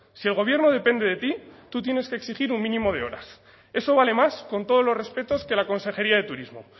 si el gobierno depende de ti tú tienes que exigir un mínimo de horas eso vale más con todos los respetos que la consejería de turismo